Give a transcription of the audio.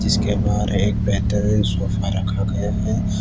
इसके बाहर एक बेहतरीन सोफा रखा गया है।